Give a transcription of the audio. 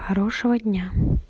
хорошего дня